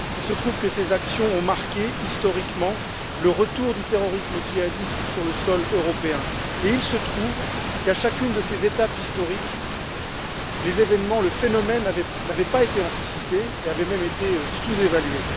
Il se trouve que ces actions ont marqué historiquement le retour du terrorisme djihadiste sur le sol européen, et il se trouve qu'à chacune de ces étapes historiques, le phénomène n'avait pas été anticipé et avait même été sous évalué.